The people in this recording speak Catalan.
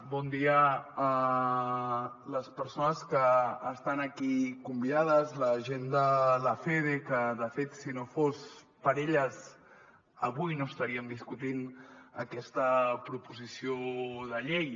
bon dia a les persones que estan aquí convidades la gent de lafede que de fet si no fos per elles avui no estaríem discutint aquesta proposició de llei